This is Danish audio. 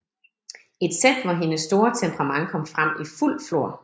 Et sæt hvor hendes store temperament kom frem i fuld flor